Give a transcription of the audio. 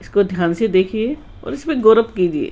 इसको ध्यान से देखिए और इसमें कीजिए।